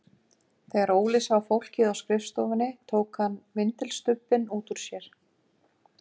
Þegar Óli sá fólkið á skrifstofunni tók hann vindilstubbinn út úr sér.